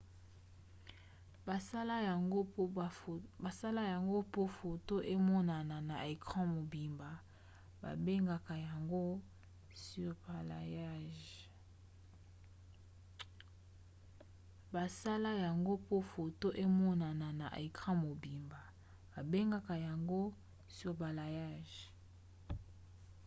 basala yango po foto emonana na ecran mobimba. babengaka yango surbalayage